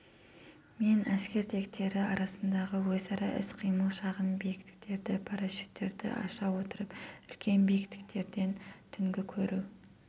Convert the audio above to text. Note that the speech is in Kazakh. мен әскер тектері арасындағы өзара іс-қимыл шағын биіктіктерде парашюттерді аша отырып үлкен биіктіктерден түнгі көру